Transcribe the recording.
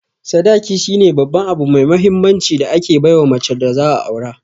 Sadaki shine Babban abu mai mahinmanci da ake baiwa macen da za'a Aure.